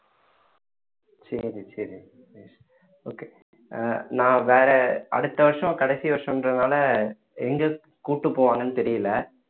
சரி சரி okay ஆஹ் நான் வேற அடுத்த வருஷம் கடைசி வருஷன்றதுனால எங்க கூட்டிட்டு போவாங்கன்னு தெரியல